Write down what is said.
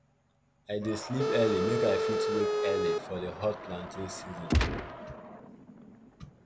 i dey sleep early make i fit wake early for di hot planting season